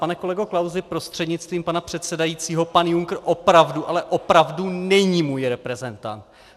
Pane kolego Klausi prostřednictvím pana předsedajícího, pan Juncker opravdu, ale opravdu není můj reprezentant.